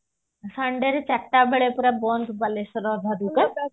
Sunday ରେ ଚାରିଟା ବେଳେ ପୁରା ବନ୍ଦ ବାଲେଶ୍ଵର